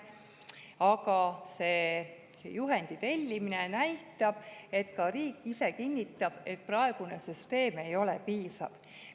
Aga juhendi tellimine näitab, et ka riik ise kinnitab, et praegune süsteem ei ole piisav.